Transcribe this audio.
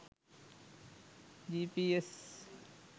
gps